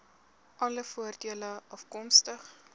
alle voordele afkomstig